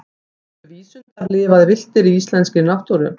gætu vísundar lifað villtir í íslenskri náttúru